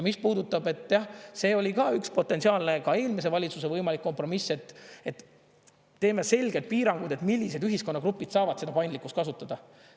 Mis puudutab, et jah, see oli ka üks potentsiaalne ka eelmise valitsuse võimalik kompromiss, et teeme selged piirangud, millised ühiskonnagrupid saavad seda paindlikkust kasutada.